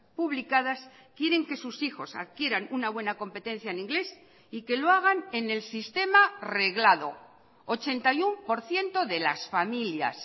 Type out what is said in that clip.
publicadas quieren que sus hijos adquieran una buena competencia en inglés y que lo hagan en el sistema reglado ochenta y uno por ciento de las familias